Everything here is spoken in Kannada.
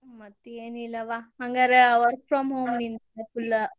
ಮತ್ತೇನಿಲ್ಲ ವಾ, ಹಂಗಾರ work from home ನಿಂದ್ full ?